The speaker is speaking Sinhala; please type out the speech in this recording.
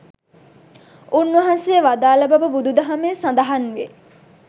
උන්වහන්සේ වදාළ බව බුදු දහමේ සඳහන්වේ.